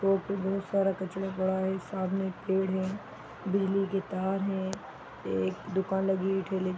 road पे बहुत सारा कचरा पड़ा है सामने एक पेड़ है बिजली के तार है एक दुकान लगी हुई ठेले --